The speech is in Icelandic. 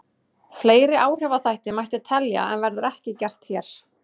Fleiri áhrifaþætti mætti telja en verður ekki gert hér.